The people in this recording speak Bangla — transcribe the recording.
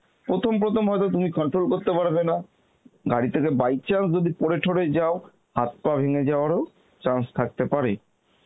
প্রথম প্রথম হয়তো তুমি control করতে পারবেনা, গাড়ি থেকে by chance যদি পরে ঠোরে যাও হাত-পা ভেঙে যাওয়ার ও chance থাকতে পারে